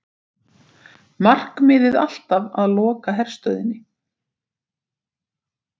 Markmiðið alltaf að loka herstöðinni